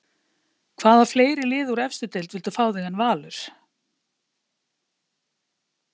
Hvaða fleiri lið úr efstu deild vildu fá þig en Valur?